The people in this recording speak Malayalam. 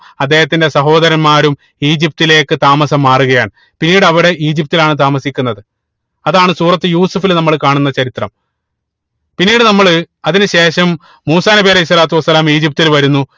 അദ്ദേഹത്തിന്റെ സഹോദരന്മാരും ഈജിപ്തിലേക്ക് താമസം മാറുകയാണ് പിന്നീട് അവിടെ ഈജിപ്തിലാണ് താമസിക്കുന്നത് അതാണ് സൂറത്തുൽ യൂസഫിൽ നമ്മള് കാണുന്ന ചരിത്രം പിന്നീട് നമ്മള് അതിനു ശേഷം മൂസാ നബി അലൈഹി സ്വത്ത് വസ്സലാം ഈജിപ്തിൽ വരുന്നു